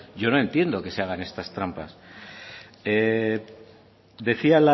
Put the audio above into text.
yo no entiendo que se hagan estas trampas decía